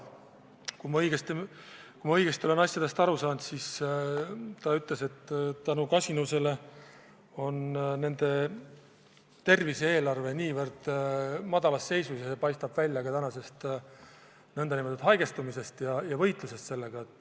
Kui ma õigesti aru sain, siis ta ütles, et kasinuse tõttu on nende tervise-eelarve väga madalas seisus ja see paistab välja ka haigestumisest Itaalias ja võitlusest sellega.